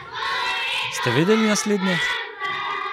Ste vedeli naslednje?